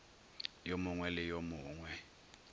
yo mongwe le yo mongwe